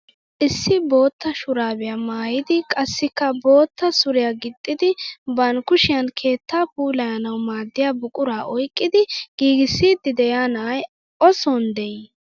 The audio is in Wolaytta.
Issi bootta shuraabiyaa maayidi qassikka bootta suriyaa gixxidi ban kushiyaan keettaa puulayanawu maaddiyaa buquraa oyqqidi giigissiidi de'iyaa na'ay o soni de'ii?